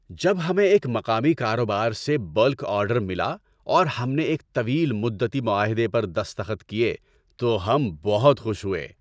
جب ہمیں ایک مقامی کاروبار سے بلک آرڈر ملا اور ہم نے ایک طویل مدتی معاہدے پر دستخط کیے تو ہم بہت خوش ہوئے۔